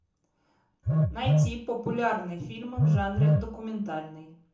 найти популярные фильмы в жанре документальный